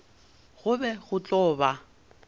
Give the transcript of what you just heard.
go be go tlo ba